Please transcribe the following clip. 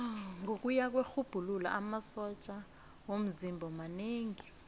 ngokuya kwerhubhululo amasotja womzimba manengi